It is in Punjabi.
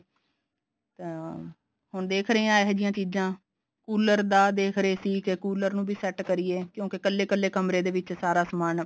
ਤਾਂ ਹੁਣ ਦੇਖ ਰਹੇ ਹਾਂ ਇਹੇ ਜਿਹੀਆ ਚੀਜ਼ਾਂ ਕੂਲਰ ਦਾ ਦੇਖ ਰਹੇ ਸੀ ਕੇ ਕੂਲਰ ਨੂੰ ਵੀ set ਕਰੀਏ ਕਿਉਂਕਿ ਕੱਲੇ ਕੱਲੇ ਕਮਰੇ ਦੇ ਵਿੱਚ ਸਾਰਾ ਸਮਾਨ